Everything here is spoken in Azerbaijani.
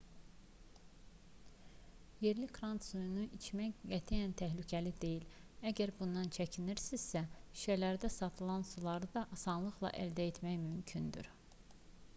yerli krant suyunu içmək qətiyyən təhlükəli deyil əgər bundan çəkinirsinizsə şüşələrdə satılan suları da asanlıqla əldə etmək mümkündür